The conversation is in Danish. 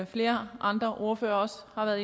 flere andre ordførere også har